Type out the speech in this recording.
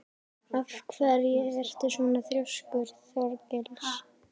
Af hverju ertu svona þrjóskur, Þorgils?